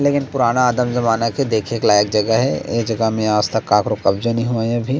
लेकिन पुराना आदम जमाना के देखे के लायक जगह हे ए जगह मे आजतक काकरों कब्जा नई होय अभी--